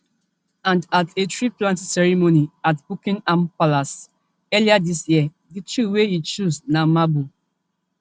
and at a treeplanting ceremony at buckingham palace earlier dis year di tree wey e choose na maple